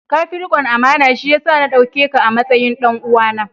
Ka fi rikon amana, shi ya sa na dauke ka a matsayin ɗan uwana.